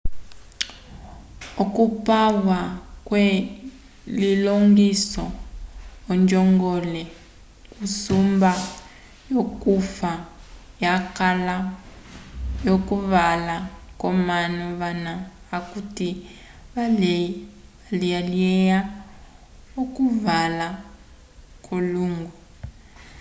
okupwa kwe lilongiso ojongole yusumba yo cufa yakala vo cuvala comanu vana akuti valiyeya okuvala cwolungo